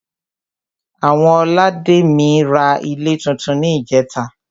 Àwọn olademi ra ilé túntún ní ìjẹ́ta